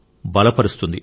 బలపరుస్తుంది